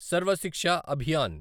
Sarva Shiksha Abhiyan